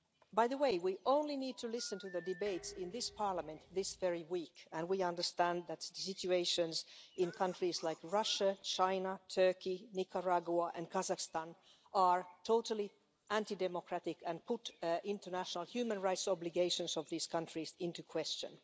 By the way, we need only to listen to the debates in this Parliament, this very week, to understand that the situations in countries like Russia, China, Turkey, Nicaragua and Kazakhstan are totally anti democratic and put the international human rights obligations of those countries into question.